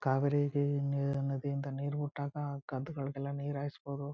ಕಾವೇರಿ ನದಿ ಇಂದ ನೀರು ಬಿಟ್ಟಾಗ ಗದ್ಗಳಿಗೆ ಎಲ್ಲ ನೀರು ಹಾಯ್ಸ್ ಬೋದು.